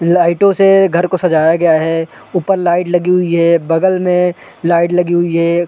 लाइटो से घर को सजाया गया है ऊपर लाइट लगी हुई है बगल में लाइट लगी हुई है।